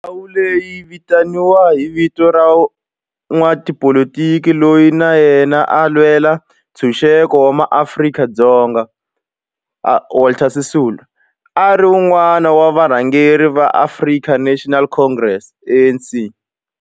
Ndhawo leyi yi vitaniwa hi vito ra n'watipolitiki loyi na yena a lwela ntshuxeko wa maAfrika-Dzonga Walter Sisulu, a ri wun'wana wa varhangeri va African National Congress, ANC.